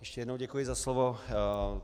Ještě jednou děkuji za slovo.